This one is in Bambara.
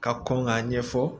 Ka kɔn k'a ɲɛfɔ